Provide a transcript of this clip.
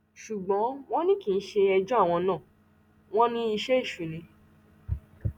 ṣùgbọn wọn ní kì í ṣe ẹjọ àwọn náà wọn ní iṣẹ èṣù ni